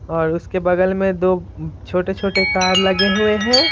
और उसके बगल में दो छोटे-छोटे कार लगे हुए हैं।